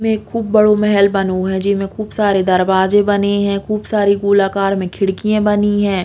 में खूब बड़ो मेहल बनो है जे में खूब सारे दरवाजे बने हैं खूब सारी गोलाकार में खिड़कियाँ बनी है।